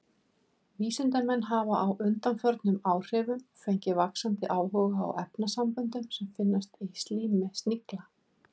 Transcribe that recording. Vísindamenn hafa á undanförnum áhrifum fengið vaxandi áhuga á efnasamböndum sem finnast í slími snigla.